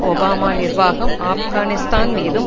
Obama நிர்வாகம் ஆப்கானிஸ்தான் மீதும்